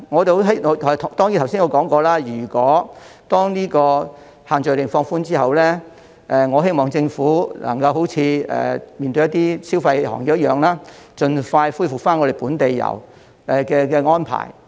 當然，正如我剛才說過，當限聚令放寬後，我希望政府能夠好像處理一些消費行業般，盡快恢復本地遊的安排。